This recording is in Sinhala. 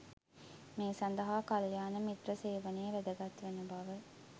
මේ සඳහා කල්‍යාණ මිත්‍ර සේවනය වැදගත් වන බව